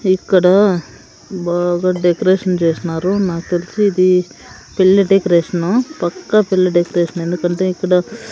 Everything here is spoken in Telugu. ఇక్కడ బాగా డెకరేషన్ చేస్నారు నాకు తెలిసి ఇది పెళ్ళి డెకరేషను పక్క పెళ్ళి డెకరేషన్ ఎందుకంటే ఇక్కడ--